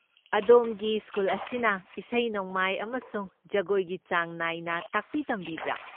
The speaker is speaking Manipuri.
ꯑꯗꯣꯝꯒꯤ ꯁ꯭ꯀꯨꯜ ꯑꯁꯤꯅ ꯏꯁꯩ ꯅꯣꯡꯃꯥꯏ ꯑꯃꯁꯨꯡ ꯖꯒꯣꯏꯒꯤ ꯆꯥꯡ ꯅꯥꯏꯅ ꯇꯥꯛꯄꯤ ꯇꯝꯕꯤꯕ꯭ꯔꯥ?